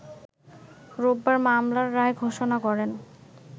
রোববার মামলার রায় ঘোষণা করেন